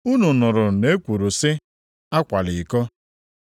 “Unu nụrụ na e kwuru sị, ‘Akwala iko.’ + 5:27 \+xt Ọpụ 20:14\+xt*